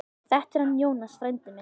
Þetta er hann Jónas, frændi minn.